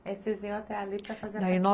Aí vocês iam até ali para fazer aí nó?